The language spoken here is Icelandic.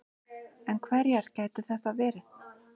En hverjar gætu þær verið